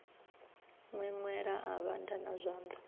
ṅweṅwela a vhanda na zwanḓa